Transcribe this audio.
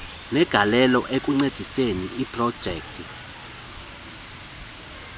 negalelo ekuncediseni iprojekthi